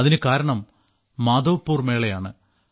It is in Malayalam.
അതിനുകാരണം മാധവ്പുർ മേളയാണ്